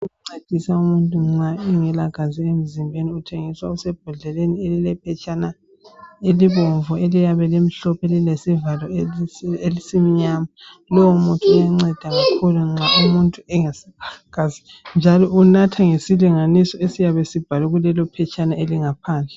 Ukuncedisa umuntu nxa engelagazi emzimbeni uthengiswa okusebhodleleni elilephetshana elibomvu eliyabe limhlophe lilesivalo esimnyama .Lowo muthi uyanceda nxa umuntu engaselagazi njalo unatha ngesilinganiso esiyabesibhalwe kulelo phetshana elingaphandle